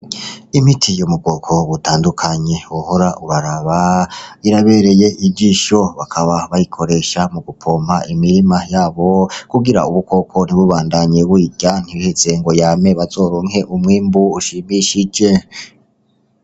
Imiti yo mugoko butandukanyi uhora ubaraba irabereye ijisho bakaba bayikoresha mu gupompa imirima yabo kugira ubukoko ntibubandanyie wwirya ntibhize ngo yame bazorunke umwimbu ushimishije.